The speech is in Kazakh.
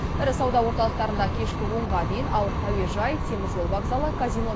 ірі сауда орталықтарында кешкі онға дейін ал әуежай теміржол вокзалы казино